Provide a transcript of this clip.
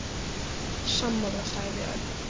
Sammála sagði Örn.